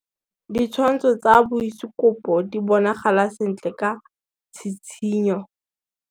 Ditshwantshô tsa biosekopo di bonagala sentle ka tshitshinyô.